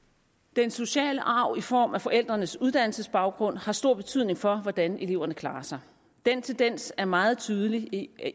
den sociale arv i form af forældrenes uddannelsesbaggrund har stor betydning for hvordan eleverne klarer sig den tendens er meget tydelig i